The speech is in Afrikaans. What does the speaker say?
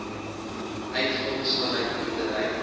uitgawes vanuit boerdery